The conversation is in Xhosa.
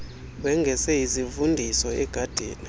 wengeze izivundoso egadini